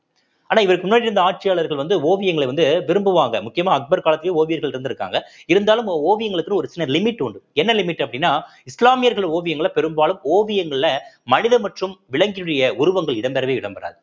ஆனா இவருக்கு முன்னாடி இருந்த ஆட்சியாளர்கள் வந்து ஓவியங்களை வந்து விரும்புவாங்க முக்கியமா அக்பர் காலத்திலயும் ஓவியர்கள் இருந்திருக்காங்க இருந்தாலும் ஓவியங்களுக்குன்னு ஒரு சின்ன limit உண்டு என்ன limit அப்படின்னா இஸ்லாமியர்கள் ஓவியங்களை பெரும்பாலும் ஓவியங்கள்ல மனித மற்றும் விலங்கினுடைய உருவங்கள் இடம்பெறவே இடம்பெறாது